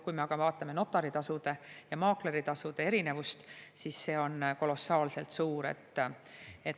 Kui me aga vaatame notaritasude ja maakleritasude erinevust, siis see on kolossaalselt suur.